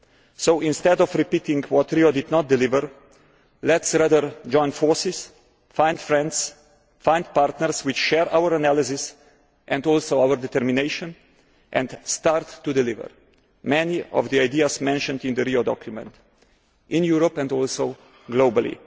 So, instead of repeating what Rio did not deliver, let us rather join forces, find friends, find partners who share our analysis and also our determination, and start to deliver many of the ideas mentioned in the Rio document, in Europe and also globally.